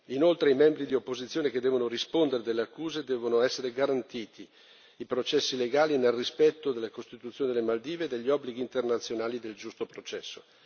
Inoltre, ai membri dell'opposizione che devono rispondere delle accuse devono essere garantiti i processi legali, nel rispetto della Costituzione delle Maldive e degli obblighi internazionali del giusto processo.